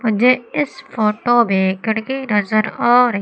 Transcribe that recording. मुझे इस फोटो मे खिड़की नजर आ--